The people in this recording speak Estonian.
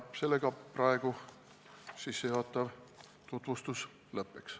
Sellega ma praegu sissejuhatava tutvustuse lõpetaks.